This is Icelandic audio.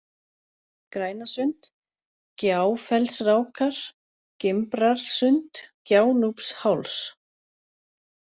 Grænasund, Gjáfellsrákar, Gimbrarsund, Gjánúpsháls